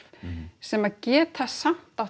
sem geta samt átt